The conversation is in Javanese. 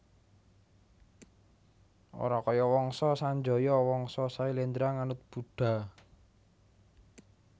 Ora kaya Wangsa Sanjaya Wangsa Syailendra nganut Buddha